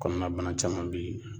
Kɔnɔnabana caman bɛ ye